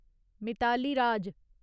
Mitali Raj